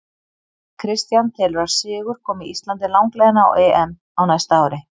Kristján telur að sigur komi Íslandi langleiðina á EM á næsta ári.